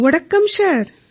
vanakkam sir